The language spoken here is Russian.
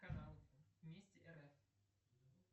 канал месть рф